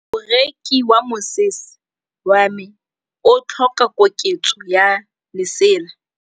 Moroki wa mosese wa me o tlhoka koketsô ya lesela.